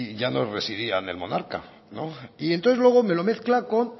ya no residían el monarca no y entonces luego me lo mezcla con